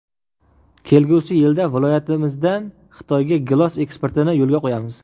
Kelgusi yilda viloyatimizdan Xitoyga gilos eksportini yo‘lga qo‘yamiz.